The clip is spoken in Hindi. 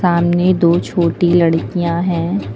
सामने दो छोटी लड़कियां है।